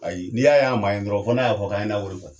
Ayi n'i y'a man ye dɔrɔn fo n'a y'a fɔ k'a ye n na wari sara.